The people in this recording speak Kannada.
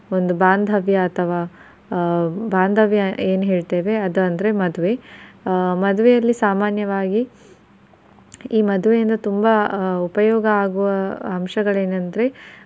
ಒಂದು ಬಾಂಧವ್ಯ ಅಥವಾ ಆ ಬಾಂಧವ್ಯ ಏನ್ ಹೇಳ್ತೇವೆ ಅದು ಅಂದ್ರೆ ಮದುವೆ ಆ ಮದುವೇಲಿ ಸಾಮಾನ್ಯವಾಗಿ ಈ ಮದ್ವೆಯಿಂದ ತುಂಬಾ ಉಪಯೋಗವಾಗುವ ಅಂಶಗಳೆನಂದ್ರೆ